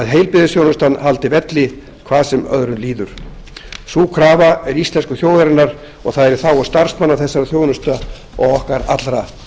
heilbrigðisþjónustan haldi velli hvað sem öðru líður sú krafa er íslensku þjóðarinnar og það er í þágu starfsmanna þessarar þjónustu og okkar allra